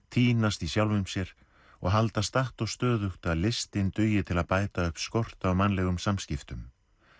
týnast í sjálfum sér og halda statt og stöðugt að listin dugi til að bæta upp skort á mannlegum samskiptum